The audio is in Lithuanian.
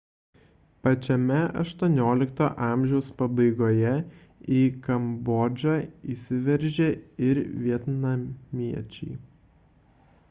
pačiame xviii amžiaus pabaigoje į kambodžą įsiveržė ir vietnamiečiai